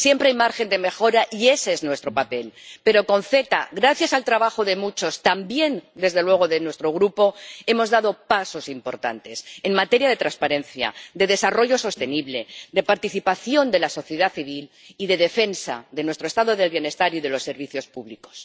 Siempre hay margen de mejora, y ese es nuestro papel, pero con el CETA, gracias al trabajo de muchos ―también, desde luego, de nuestro Grupo―, hemos dado pasos importantes en materia de transparencia, de desarrollo sostenible, de participación de la sociedad civil y de defensa de nuestro Estado del bienestar y de los servicios públicos.